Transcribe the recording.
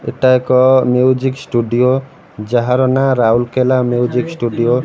ଏଟା ଏକ music studio ଯାହାର ନା ରାଉରକେଲା ମ୍ୟୁଜିକ ଷ୍ଟୁଡିଓ ।